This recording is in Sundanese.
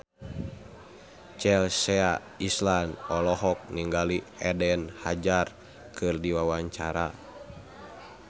Chelsea Islan olohok ningali Eden Hazard keur diwawancara